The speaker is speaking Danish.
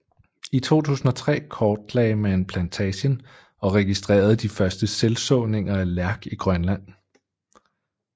I 2003 kortlagde man plantagen og registrerede de første selvsåninger af lærk i Grønland